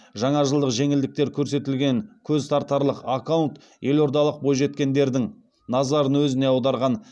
жаңажылдық жеңілдіктер көрсетілген көзтартарлық аккаунт елордалық бойжеткендердің назарын өзіне аударған